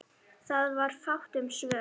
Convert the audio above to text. Það var fátt um svör.